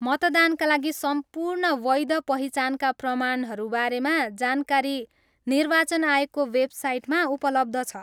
मतदानका लागि सम्पूर्ण वैध पहिचानका प्रमाणहरू बारेमा जानकारी निर्वाचन आयोगको वेबसाइटमा उपलब्ध छ।